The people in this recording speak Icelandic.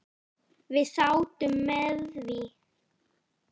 Við sátum með því.